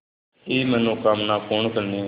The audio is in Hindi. की मनोकामना पूर्ण करने